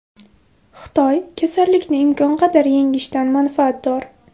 Xitoy kasallikni imkon qadar yengishdan manfaatdor.